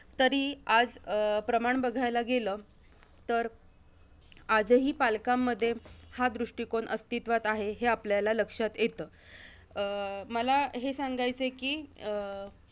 तरी, आज अं प्रमाण बघायला गेलं तर, आजही पालकांमध्ये हा दृष्टीकोन अस्तित्वात आहे, हे आपल्याला लक्षात येतं. अं मला हे सांगायचंय कि, अं